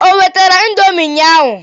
O wetara indomi ụnyaahụ?